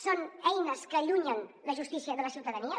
són eines que allunyen la justícia de la ciutadania